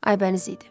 Aybəniz idi.